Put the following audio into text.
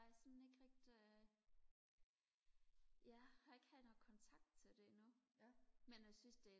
sådan ikke rigtig jeg har ikke haft noget kontakt til det endnu men jeg synes det